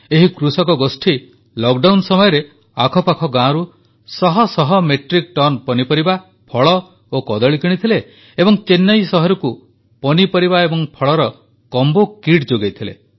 ଏହି କୃଷକଗୋଷ୍ଠୀ ଲକ୍ଡାଉନ ସମୟରେ ଆଖପାଖ ଗାଁରୁ ଶହଶହ ମେଟ୍ରିକ୍ ଟନ ପନିପରିବା ଫଳ ଓ କଦଳୀ କିଣିଥିଲେ ଏବଂ ଚେନ୍ନଇ ସହରକୁ ପନିପରିବା ଏବଂ ଫଳର କମ୍ବୋ କିଟ୍ ଯୋଗାଇଥିଲେ